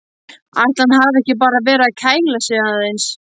Ætli hann hafi ekki bara verið að kæla sig aðeins.